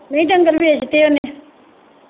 ਨਹੀਂ ਡੰਗਰ ਵੇਚ ਦਿੱਤੇ ਓਹਨੇ।